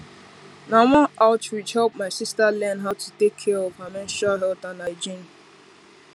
na one outreach help my sister learn how to take care of her menstrual health and hygiene